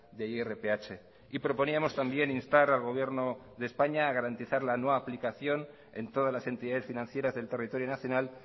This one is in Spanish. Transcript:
de irph y proponíamos también instar al gobierno de españa a garantizar la no aplicación en todas las entidades financieras del territorio nacional